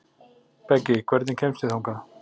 Beggi, hvernig kemst ég þangað?